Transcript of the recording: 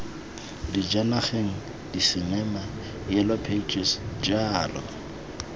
dijanageng disinema yellow pages jalo